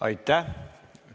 Aitäh!